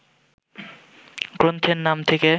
গ্রন্থের নাম থেকে